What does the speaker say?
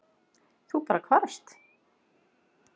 Þú bara hvarfst?